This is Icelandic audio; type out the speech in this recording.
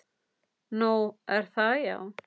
Nú, er það já.